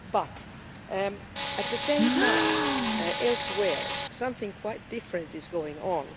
But, at the same time, elsewhere, something quite different is going on.